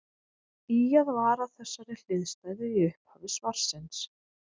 Ýjað var að þessari hliðstæðu í upphafi svarsins.